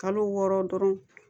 Kalo wɔɔrɔ dɔrɔn